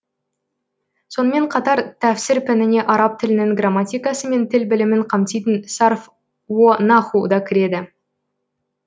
сонымен қатар тәфсір пәніне араб тілінің граматикасы мен тіл білімін қамтитын сарф уо наху да кіреді